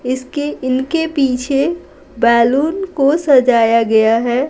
इसके इनके पीछे बैलून को सजाया गया है।